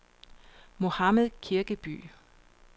Mohammad Kirkeby